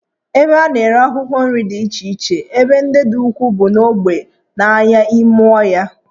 Ebe a na-ere akwụkwọ nri dị iche iche ebe ọ dị ukwuu n'ogbe bụ n'ahịa ime ọhịa